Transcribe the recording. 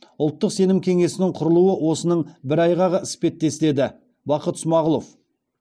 ұлттық сенім кеңесінің құрылуы осының бір айғағы іспеттес деді бақыт смағұлов